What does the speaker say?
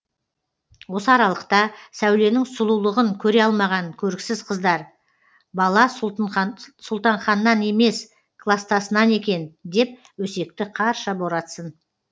осы аралықта сәуленің сұлулығын көре алмаған көріксіз қыздар бала сұлтанханнан емес кластасынан екен деп өсекті қарша боратсын